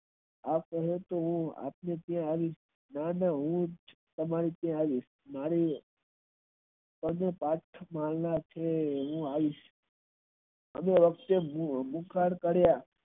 હું સાથે આવીશ મારે અને હું આવી અનેવાચ્ચે હું અમુક વાર